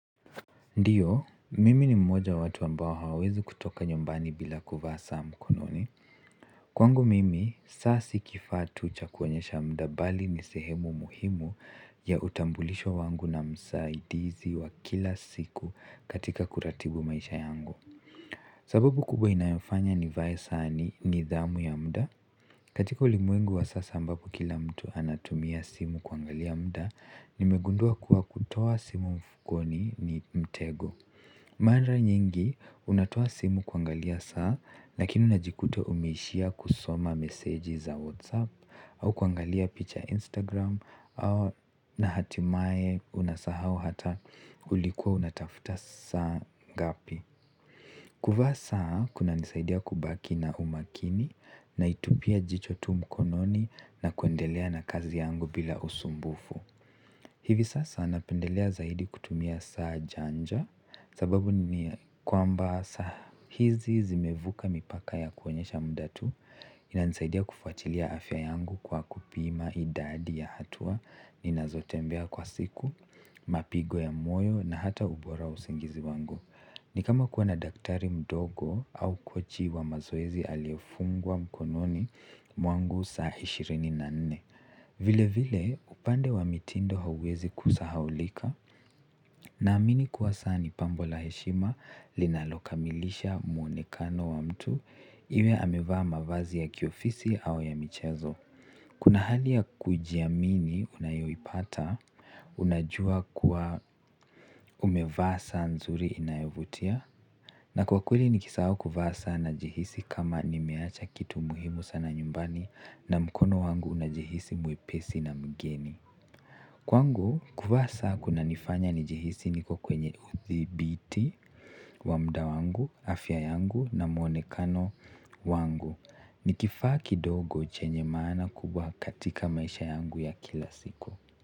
Ndiyo, mimi ni mmoja wa watu ambao hawawezi kutoka nyumbani bila kuvaa saa mkononi. Kwangu mimi saa si kifaa tu cha kuonyesha muda bali ni sehemu muhimu ya utambulisho wangu na msaidizi wa kila siku katika kuratibu maisha yangu sababu kubwa inayofanya nivae saa ni nidhamu ya muda. Katika ulimwengu wa sasa ambapo kila mtu anatumia simu kuangalia muda, nimegundua kuwa kutoa simu mfukoni ni mtego. Mara nyingi, unatoa simu kuangalia saa, lakini unajikuta umeishia kusoma meseji za Whatsapp au kuangalia picha Instagram na hatimaye unasahau hata ulikuwa unatafuta saa ngapi. Kuvaa saa kunanisaidia kubaki na umakini naitupia jicho tu mkononi na kuendelea na kazi yangu bila usumbufu. Hivi sasa napendelea zaidi kutumia saa janja sababu ni kwamba saa hizi zimevuka mipaka ya kuonyesha muda tu inanisaidia kufuatilia afya yangu kwa kupima idadi ya hatua ninazotembea kwa siku, mapigo ya moyo na hata ubora wa usingizi wangu. Ni kama kuwa na daktari mdogo au kochi wa mazoezi aliyefungwa mkononi mwangu saa ishirini na nne vile vile upande wa mitindo hauwezi kusahaulika na amini kuwa saa ni pambo la heshima linalokamilisha mwonekano wa mtu iwe amevaa mavazi ya kiofisi au ya michezo kuna hali ya kujiamini unayoipata unajua kuwa umevaa saa nzuri inayovutia na kwa kweli nikisahau kuvaa saa najihisi kama nimeacha kitu muhimu sana nyumbani na mkono wangu unajihisi mwepesi na mgeni kwangu kuvaa saa kunanifanya nijihisi niko kwenye uthibiti wa muda wangu, afya yangu na mwonekano wangu ni kifaa kidogo chenye maana kubwa katika maisha yangu ya kila siku.